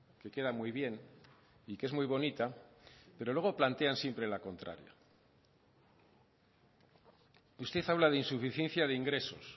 que queda muy bien y que es muy bonita pero luego plantean siempre la contraria usted habla de insuficiencia de ingresos